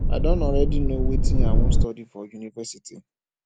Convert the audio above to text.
i don already know wetin i wan study for university